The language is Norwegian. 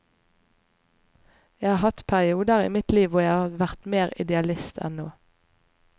Jeg har hatt perioder i mitt liv hvor jeg har vært mer idealist enn nå.